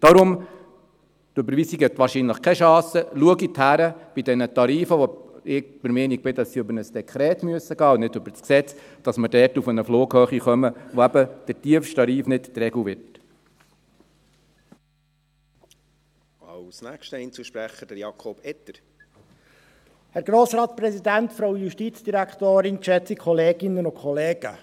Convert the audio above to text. Darum – die Überweisung hat wahrscheinlich keine Chance – schauen Sie bei diesen Tarifen hin, bei denen ich der Meinung bin, dass sie über ein Dekret gehen müssen und nicht über das Gesetz, sodass wir dort auf eine Flughöhe kommen, bei der eben der tiefste Tarif nicht die Regel wird. .